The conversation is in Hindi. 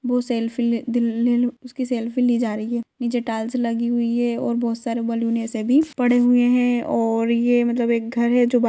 बहुत सेल्फी ले-- दी-- लेलो उसकी सेल्फी ली जा रही है नीचे टाइल्स लगी हुई है और बहुत सारे बैलून ऐसे भी पड़े हुए हैं और ये मतलब एक घर है जो--